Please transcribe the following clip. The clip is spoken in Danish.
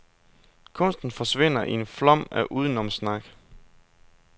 Kunsten forsvinder i en flom af udenomssnak.